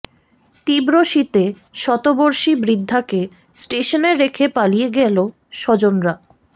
তীব্র শীতে শতবর্ষী বৃদ্ধাকে স্টেশনে রেখে পালিয়ে গেল স্বজনরা